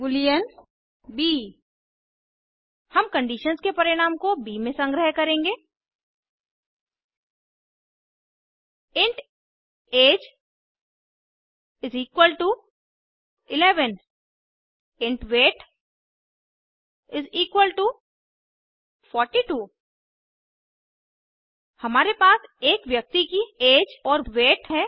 Boolean ब हम conditions के परिणाम को ब में संग्रह करेंगे int age is equal to 11 int weight is equal to 42 हमारे पास एक व्यक्ति की ऐज और वेट है